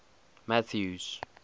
mathews